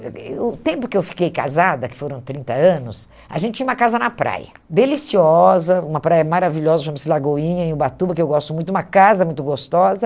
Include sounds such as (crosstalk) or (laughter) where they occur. (unintelligible) o tempo que eu fiquei casada, que foram trinta anos, a gente tinha uma casa na praia, deliciosa, uma praia maravilhosa, chama-se Lagoinha, em Ubatuba, que eu gosto muito, uma casa muito gostosa.